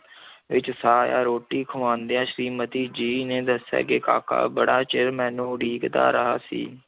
ਵਿੱਚ ਸਾਹ ਆਇਆ, ਰੋਟੀ ਖਵਾਉਂਦਿਆਂ ਸ੍ਰੀਮਤੀ ਜੀ ਨੇ ਦੱਸਿਆ ਕਿ ਕਾਕਾ ਬੜਾ ਚਿਰ ਮੈਨੂੰ ਉਡੀਕਦਾ ਰਿਹਾ ਸੀ।